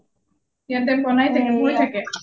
ইয়াতে বোনাই থাকে বই থাকে ?